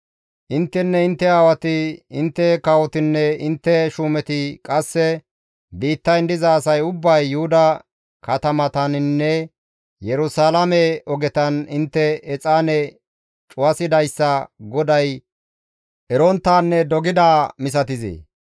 «Intteninne intte aawati, intte kawotinne intte shuumeti, qasse biittayn diza asay ubbay Yuhuda katamataninne Yerusalaame ogetan intte exaane cuwasidayssa GODAY eronttaanne dogidaa inttes misatizee?